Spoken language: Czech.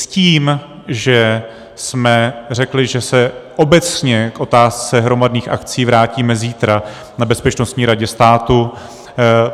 S tím, že jsme řekli, že se obecně k otázce hromadných akcí vrátíme zítra na Bezpečnostní radě státu.